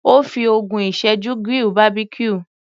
Ó fi ogún ìsẹ́jú grill Barbecue.